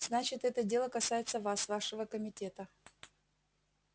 значит это дело касается вас вашего комитета